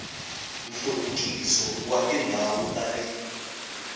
nhluvukiso wa tindhawu ta le